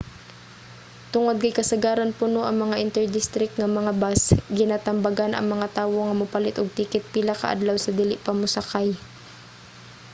tungod kay kasagaran puno ang mga inter-district nga mga bus ginatambagan ang mga tawo nga mopalit og ticket pila ka adlaw sa dili pa mosakay